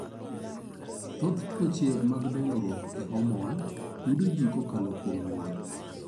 Thoth tuoche mag dongruok e homon yudo ji kokalo kuom nyuol.